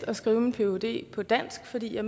at skrive min phd på dansk fordi jeg